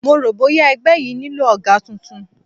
Mo rò bóya ẹgbẹ́ yìí nílò ọ̀gá tuntun